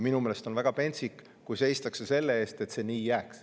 Minu meelest on väga pentsik, kui seistakse selle eest, et see nii jääks.